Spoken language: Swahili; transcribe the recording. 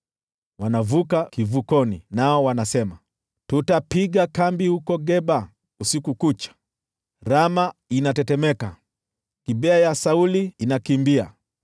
Wanavuka kivukoni, nao wanasema, “Tutapiga kambi huko Geba usiku kucha.” Rama inatetemeka; Gibea ya Sauli inakimbia.